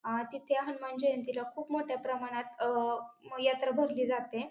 अ तिथे हनुमान जयंतीला खूप मोठ्या प्रमाणात अ म यात्रा भरली जाते.